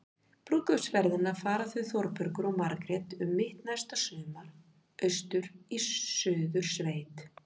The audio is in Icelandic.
Brúðkaupsferðina fara þau Þórbergur og Margrét um mitt næsta sumar- austur í Suðursveit.